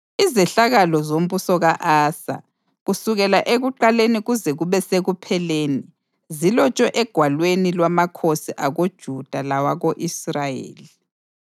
Izehlakalo zombuso ka-Asa, kusukela ekuqaleni kuze kube sekupheleni, zilotshwe egwalweni lwamakhosi akoJuda lawako-Israyeli.